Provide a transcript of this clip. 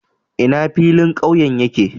Ina filin ƙauye yake?